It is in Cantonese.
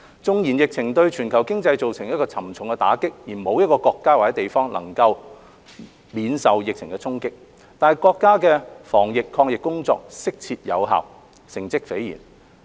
縱然疫情對全球經濟造成沉重打擊，沒有一個國家或地方能免受疫情沖擊，但國家的防疫抗疫工作適切有效，成績斐然。